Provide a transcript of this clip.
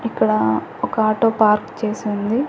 ఇక్కడ ఒక auto park చేసుంది.